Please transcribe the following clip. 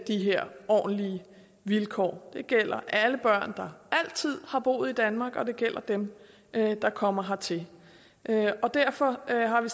de her ordentlige vilkår det gælder alle børn der altid har boet i danmark og det gælder dem der kommer hertil derfor har vi